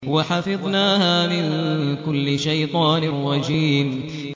وَحَفِظْنَاهَا مِن كُلِّ شَيْطَانٍ رَّجِيمٍ